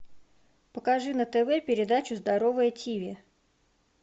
покажи на тв передачу здоровое тиви